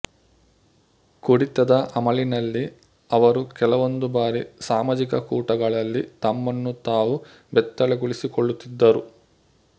ಕುಡಿತದ ಅಮಲಿನಲ್ಲಿ ಅವರು ಕೆಲವೊಂದು ಬಾರಿ ಸಾಮಾಜಿಕ ಕೂಟಗಳಲ್ಲಿ ತಮ್ಮನ್ನು ತಾವು ಬೆತ್ತಲೆಗೊಳಿಸಿಕೊಳ್ಳುತ್ತಿದ್ದರು